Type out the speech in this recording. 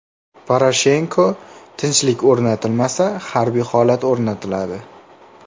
Poroshenko: tinchlik o‘rnatilmasa, harbiy holat o‘rnatiladi.